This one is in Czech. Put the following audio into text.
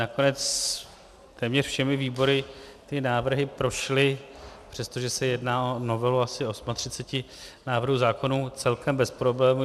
Nakonec téměř všemi výbory ty návrhy prošly, přestože se jedná o novelu asi 38 návrhů zákonů, celkem bez problémů.